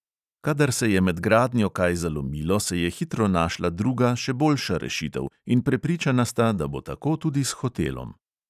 Kadar se je med gradnjo kaj zalomilo, se je hitro našla druga, še boljša rešitev in prepričana sta, da bo tako tudi s hotelom.